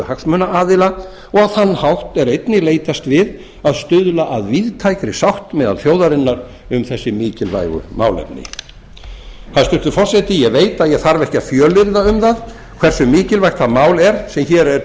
hagsmunaaðila og á þann hætti er einnig leitast við að stuðla að víðtækri sátt meðal þjóðarinnar um þessi mikilvægu málefni hæstvirtur forseti ég veit að ég þarf ekki að fjölyrða um það hversu mikilvægt það mál er sem hér er